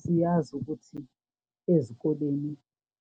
Siyazi ukuthi ezikoleni